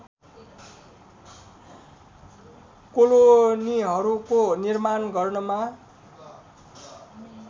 कोलोनीहरूको निर्माण गर्नमा